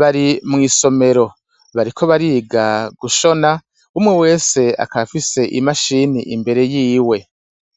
bari mw'isomero. Bariko bariga gushona, umwe wese akaba afise imashini imbere y'iwe.